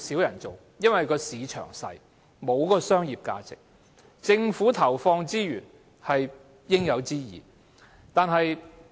因為市場小，沒有商業價值，所以政府投放資源是應有之義。